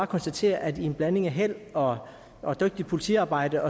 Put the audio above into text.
konstatere at i en blanding af held og og dygtigt politiarbejde